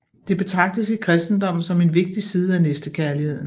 Det betragtes i kristendommen som en vigtig side af næstekærligheden